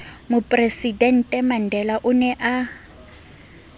mopresidente mandela o ne a